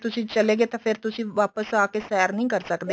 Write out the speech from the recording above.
ਤੁਸੀ ਚਲੇ ਗਏ ਤਾਂ ਫੇਰ ਤੁਸੀਂ ਵਾਪਸ ਆ ਕੇ ਸੈਰ ਨੀ ਕਰ ਸਕਦੇ